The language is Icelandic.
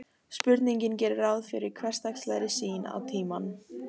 Spurningin gerir ráð fyrir hversdagslegri sýn á tímann.